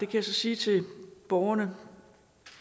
kan sige til borgerne